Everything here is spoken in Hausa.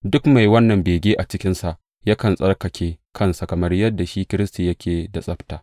Duk mai wannan bege a cikinsa yakan tsarkake kansa, kamar yadda shi Kiristi yake da tsabta.